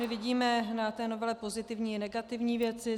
My vidíme na té novele pozitivní i negativní věci.